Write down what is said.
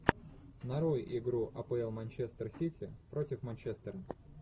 нарой игру апл манчестер сити против манчестер